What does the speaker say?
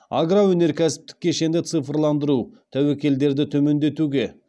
агроөнеркәсіптік кешенді цифрландыру тәуекелдерді төмендетуге